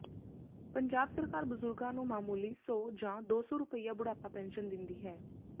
ਪੰਜਾਬ ਸਰਕਾਰ ਬਜ਼ੁਰਗਾਂ ਨੂੰ ਮਾਮੂਲੀ ਸੌ ਜਾਂ ਦੋ ਸੌ ਰੁਪਿਆ ਬੁਢਾਪਾ ਪੈਨਸ਼ਨ ਦਿੰਦੀ ਹੈ